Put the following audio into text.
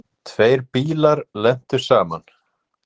Tveir bílar lentu saman.